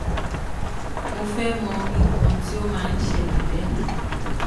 mo fe mo nkan ti o ma n sele be